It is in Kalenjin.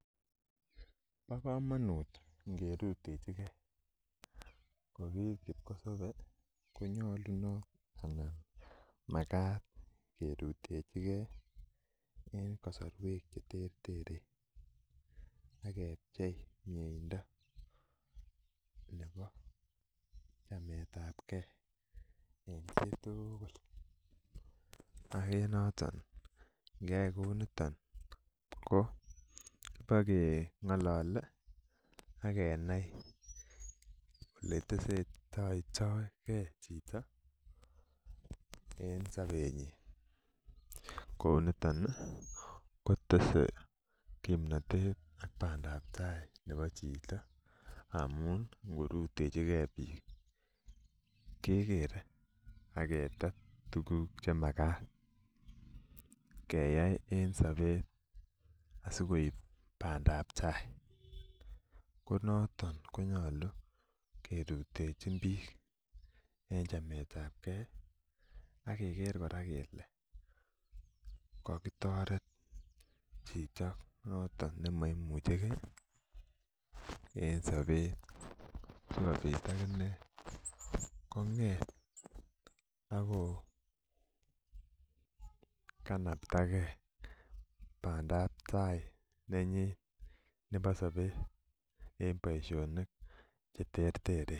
Bo komonut ngerutechi gee ko ki kipkosobe ko nyolunot anan makat kerutechi gee en kasorwek cheterteren ak kepchei miendo nebo chametabgee en chitugul ak en noton ngeyai kou niton ko bakengolole ak kenai ele testoitogee chito en sobetnyin kou niton ih kotese kimnotet ak bandap taa nebo chito amun ngorutechigee biik kekere ak ketet tuguk chemakat keyai en sobet asikoib bandaptaa konoton konyolu kerutechin biik en chametabgee ak keker kora kele kokitoret chito noton nemoimuchegee en sobet sikobit akinee kong'et ako kanaptagee bandaptaa nenyin nebo sobet en boisionik cheterteren